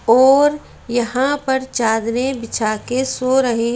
और यहां पर चादरें बिछा के सो रहे ।